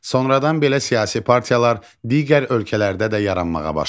Sonradan belə siyasi partiyalar digər ölkələrdə də yaranmağa başladı.